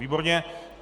Výborně.